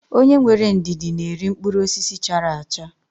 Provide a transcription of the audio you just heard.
Onye nwere ndidi na-eri mkpụrụ osisi chara acha.